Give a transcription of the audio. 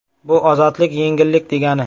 Bu ozodlik, yengillik degani.